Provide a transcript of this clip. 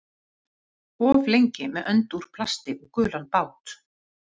Of lengi með önd úr plasti og gulan bát